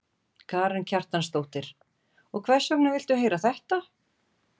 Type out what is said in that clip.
Karen Kjartansdóttir: Og hvers vegna viltu heyra þetta?